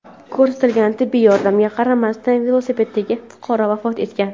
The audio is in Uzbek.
Ko‘rsatilgan tibbiy yordamga qaramasdan velosipeddagi fuqaro vafot etgan.